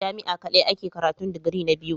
Jami'a kadai ake karatun digiri na biyu.